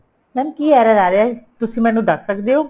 mam ਕੀ error ਆ ਰਿਹਾ ਏ ਤੁਸੀਂ ਮੈਨੂੰ ਦੱਸ ਸਕਦੇ ਓ